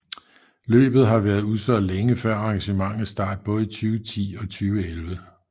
Løbet har været udsolgt længe før arrangementets start både i 2010 og 2011